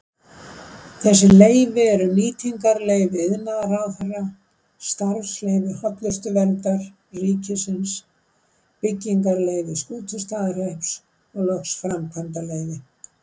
Þessi leyfi eru nýtingarleyfi iðnaðarráðherra, starfsleyfi Hollustuverndar ríkisins, byggingarleyfi Skútustaðahrepps og loks framkvæmdaleyfi.